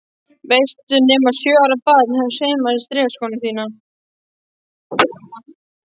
Veistu nema sjö ára barn hafi saumað strigaskóna þína?